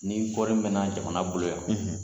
Ni kɔɔri mɛna jamana bolo yan